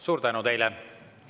Suur tänu teile!